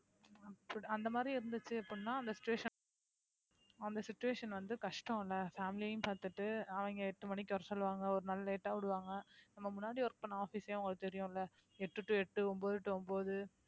அப்பிடி அந்த மாதிரி இருந்துச்சு அப்படின்னா அந்த situation அந்த situation வந்து கஷ்டம் இல்ல family யும் பார்த்துட்டு அவங்க எட்டு மணிக்கு வர சொல்லுவாங்க ஒரு நாள் late ஆ விடுவாங்க நம்ம முன்னாடி work பண்ண office ஏ உங்களுக்கு தெரியும்ல எட்டு to எட்டு ஒன்பது to ஒன்பது